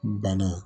Bana